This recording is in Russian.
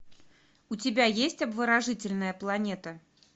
у тебя есть обворожительная планета